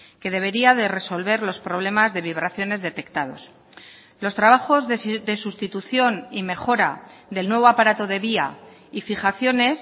que debería de resolver los problemas de vibraciones detectados los trabajos de sustitución y mejora del nuevo aparato de vía y fijaciones